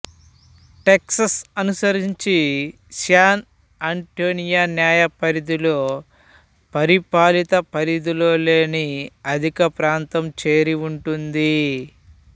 Texas అనుసరించి San Antonio న్యాయ పరిధిలో పరిపాలిత పరిధిలో లేని అధిక ప్రాంతం చేరి ఉంటుంది